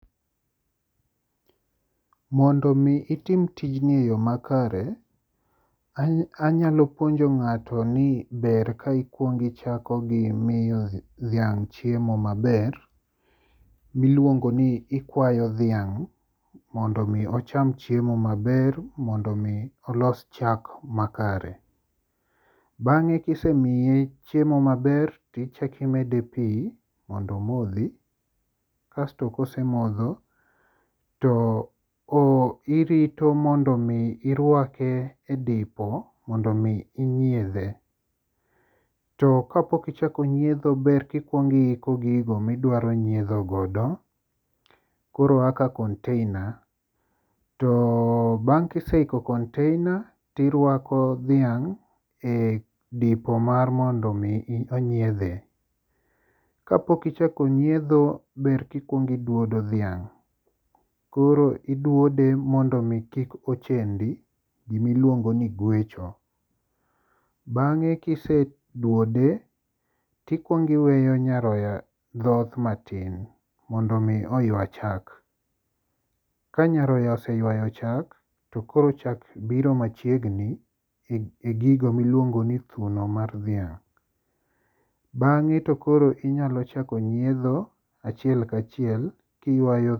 Mondo omi itim tijni e yo makare, anyalo puonjo ng'ato ni ber ka ikwongi ichako gi miyo dhiang' chiemo maber miluongo ni ikwayo dhiang' mondo omi ocham chiemo maber mondo omi olos chak makare. Bang'e kisemiye chiemo maber, tichako imede pi mondo omodhi kasto kosemodho to irito mondo omo irwake e dipo mondo omi inyiedhe. To kapok ichako nyiedho ber kikwongo iko gigo midwaro nyiedhogodo koro kaka konteina to bang' kiseiko konteina tirwako dhiang' e dipo mar mondo mi onyiedhe. Kapok ichako nyiedho ber kikwongo idwodo dhiang'. Koro idwode mondo omi kik ochendi gimiluongo ni gwecho. Bang'e kisedwode tikwongo iweyo nyaroya dhoth matin mondo omi oywa chak. Ka nyarora oseywayo chak to koro chak biro machiegni e gigo miluongo ni thuno mar dhiang'. Bang'e to koro inyalo chako nyiedho achiel kachiel kiywayo..